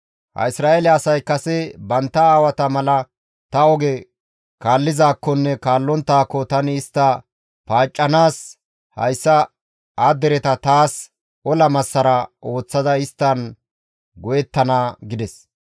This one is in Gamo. Ha Isra7eele asay kase bantta aawata mala ta oge kaallizaakkonne kaallonttaako tani istta paaccanaas hayssa ha dereta taas ola massara ooththada isttan go7ettana» gides.